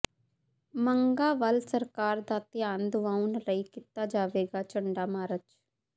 ਮੰਗਾਂ ਵੱਲ ਸਰਕਾਰ ਦਾ ਧਿਆਨ ਦੁਆਉਣ ਲਈ ਕੀਤਾ ਜਾਵੇਗਾ ਝੰਡਾ ਮਾਰਚ